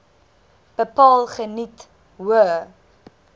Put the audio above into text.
bepaal geniet hoë